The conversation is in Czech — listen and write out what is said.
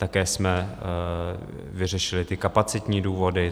Také jsme vyřešili ty kapacitní důvody.